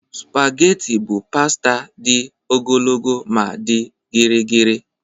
Spageti bụ pasta dị ogologo ma dị gịrịgịrị.